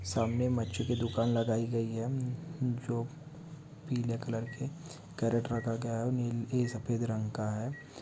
सामने मछी की दूकान लगायी गयी है जो पीले कलर के कैरट रखा गया है नीले सफेद रंग का है।